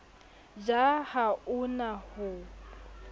ja ha o na ho